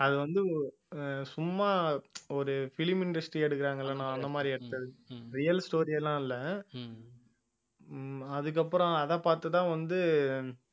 அது வந்து ஆஹ் சும்மா ஒரு film industry எடுக்கறாங்கல்ல நான் அந்த மாதிரி எடுத்தது real story எல்லாம் இல்லை ஆஹ் அதுக்கப்புறம் அதைப் பார்த்துதான் வந்து